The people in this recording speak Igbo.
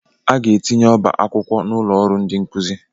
A ga-etinye ọba akwụkwọ n'ụlọ ọrụ ndị nkuzi.